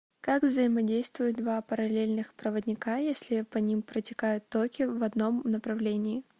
как взаимодействуют два параллельных проводника если по ним протекают токи в одном направлении